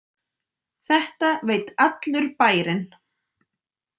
Þetta veit allur bærinn!